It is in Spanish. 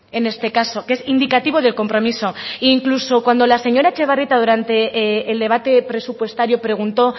en este caso que es indicativo de compromiso e incluso cuando la señora etxebarrieta durante el debate presupuestario preguntó